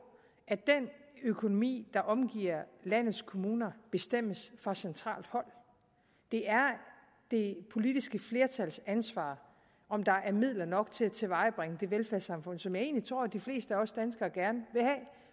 at den økonomi der omgiver landets kommuner bestemmes fra centralt hold det er det politiske flertals ansvar om der er midler nok til at tilvejebringe det velfærdssamfund som jeg egentlig tror at de fleste af os danskere gerne vil